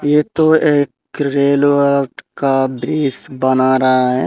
ये तो एक रेलवे का ब्रिज बना रहा है।